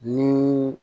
Ni